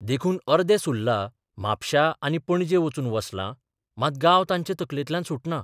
देखून अर्दे सुर्ला म्हापश्यां आनी पणजे वचून वसलां मात गांव तांचे तकलेंतल्यान सुटना.